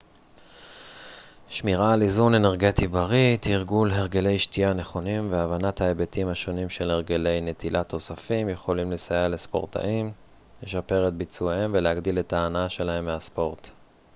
שמירה על איזון אנרגטי בריא תרגול הרגלי שתייה נכונים והבנת ההיבטים השונים של הרגלי נטילת תוספים יכולים לסייע לספורטאים לשפר את ביצועיהם ולהגדיל את ההנאה שלהם מהספורט